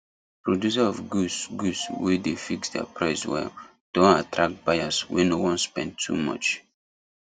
producer of goods goods wey dey fix their price well don attract buyers wey no wan spend too much